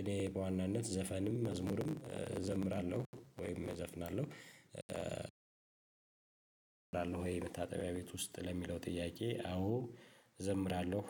እኔ በዋናነት ዘፈንም መዝሙርም እዘምራለሁ ወይም እዘፍናለሁ። ትዘምራለህ ወይ መታጠቢያ ቤት ውስጥ ለሚለው ጥያቄ አዎ እዘምራለሁ